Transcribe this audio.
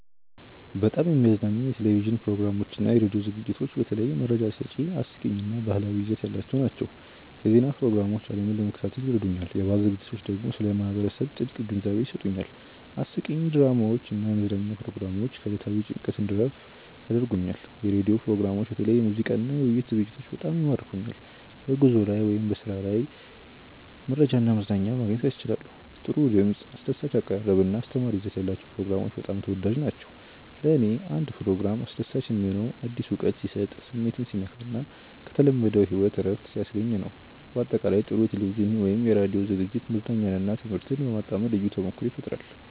በጣም የሚያዝናኑኝ የቴሌቪዥን ፕሮግራሞችና የራዲዮ ዝግጅቶች በተለይ መረጃ ሰጪ፣ አስቂኝ እና ባህላዊ ይዘት ያላቸው ናቸው። የዜና ፕሮግራሞች ዓለምን ለመከታተል ይረዱኛል፣ የባህል ዝግጅቶች ደግሞ ስለ ማህበረሰብ ጥልቅ ግንዛቤ ይሰጡኛል። አስቂኝ ድራማዎች እና የመዝናኛ ፕሮግራሞች ከዕለታዊ ጭንቀት እንድረፍ ያደርጉኛል። የራዲዮ ፕሮግራሞችም በተለይ የሙዚቃና የውይይት ዝግጅቶች በጣም ይማርኩኛል። በጉዞ ላይ ወይም በስራ ጊዜ መረጃና መዝናኛ ማግኘት ያስችላሉ። ጥሩ ድምፅ፣ አስደሳች አቀራረብ እና አስተማሪ ይዘት ያላቸው ፕሮግራሞች በጣም ተወዳጅ ናቸው። ለእኔ አንድ ፕሮግራም አስደሳች የሚሆነው አዲስ እውቀት ሲሰጥ፣ ስሜትን ሲነካ እና ከተለመደው ሕይወት እረፍት ሲያስገኝ ነው። በአጠቃላይ፣ ጥሩ የቴሌቪዥን ወይም የራዲዮ ዝግጅት መዝናኛንና ትምህርትን በማጣመር ልዩ ተሞክሮ ይፈጥራል